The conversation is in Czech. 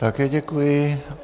Také děkuji.